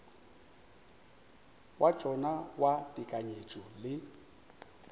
wa tšona wa tekanyetšo le